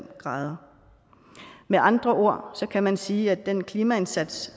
grader med andre ord kan man sige at den klimaindsats